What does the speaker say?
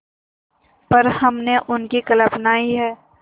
पर हमने उनकी कल्पना ही है